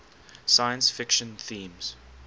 science fiction themes